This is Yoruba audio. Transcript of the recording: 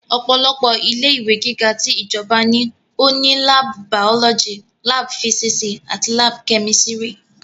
Ọ̀pọ̀lọpọ̀ ilé ìwé gíga ti ìjọba ní ó ní láàbù bàọ́lọ́jì, láàbù físísì àti láàbù kẹ́mísítírì